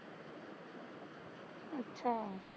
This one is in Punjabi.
ਅੱਛਾ